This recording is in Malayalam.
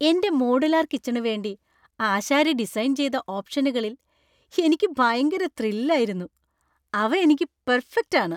എന്‍റെ മോഡുലാർ കിച്ചണു വേണ്ടി ആശാരി ഡിസൈന്‍ ചെയ്ത ഓപ്ഷനുകളിൽ എനിക്ക് ഭയങ്കര ത്രില്‍ ആയിരുന്നു. അവ എനിക്ക് പെര്‍ഫക്റ്റ് ആണ്!